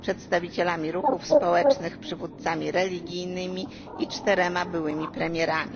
przedstawicielami ruchów społecznych, przywódcami religijnymi i czterema byłymi premierami.